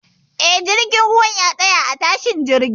Eh, jirgin ruwan ya tsaya a tashar jiya